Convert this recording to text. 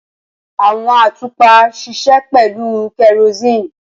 Awọn atupa ṣiṣẹ pẹlu kerosene.